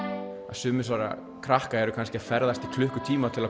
sum þessara krakka eru kannski að ferðast í klukkutíma til að